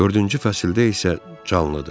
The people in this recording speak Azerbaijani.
Dördüncü fəsildə isə canlıdır.